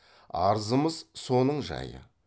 арызымыз соның жайы